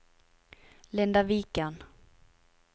Linda Viken